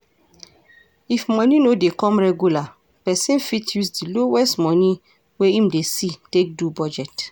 if money no dey come regular person fit use di lowest money wey im dey see take do budget